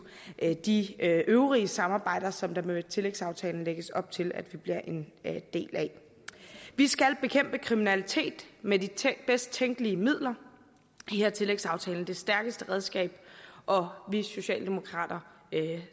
de øvrige samarbejder som der med tillægsaftalen lægges op til at vi bliver en del af vi skal bekæmpe kriminalitet med de bedst tænkelige midler her er tillægsaftalen det stærkeste redskab og vi socialdemokrater